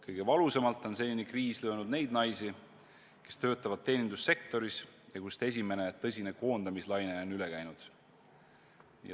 Kõige valusamalt on see kriis löönud neid naisi, kes töötavad teenindussektoris, kust esimene tõsine koondamislaine on üle käinud.